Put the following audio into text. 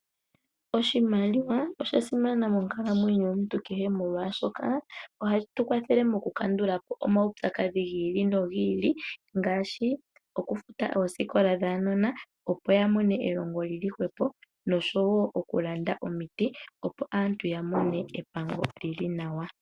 Oshimaliwa osha simana monkalamwenyo yomuntu kehe molwaashoka, obashi tu kwathele moku kandulapo omaudhigu gi ili nogi ili ngaashi, okufuta oosikola dhaanona opo ya mone elongo lyili hwepo, noshowo okulanda omiti opo aantu ya mone epango lyili nawa.